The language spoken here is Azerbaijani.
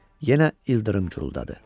Yenə ildırım guruldadı.